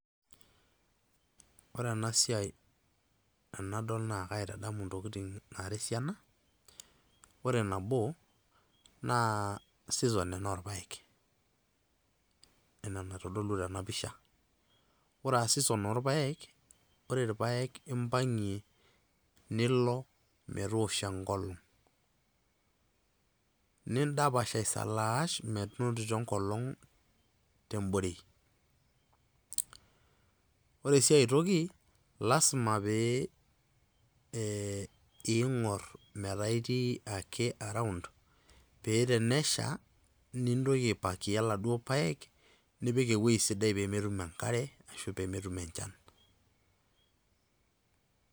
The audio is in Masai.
Ore enasiai enadol naa, kaitadamu ntokiting nara esiana. Ore nabo, naa season ena orpaek. Enaa enaitodolu tena pisha. Ore ah season orpaek, ore irpaek impang'ie, nilo metoosho enkolong'. Nidapash aisalaash, menotito enkolong' teborei. Ore si ai toki, lasima pee ing'or metaa itii ake around, pe tenesha, nintoki aipakia laduo paek, nipik ewoi sidai pemetum enkare, ashu pemetum enchan.